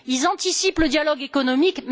Ils anticipent le dialogue économique.